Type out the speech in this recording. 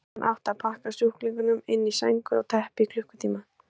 Síðan átti að pakka sjúklingunum inn í sængur eða teppi í klukkutíma.